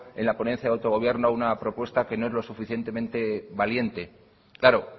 en la ponencia de autogobierno una propuesta que no es lo suficientemente valiente claro